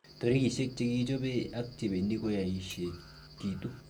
Tarigisiek chekichobe ak chebendi koyochekitu.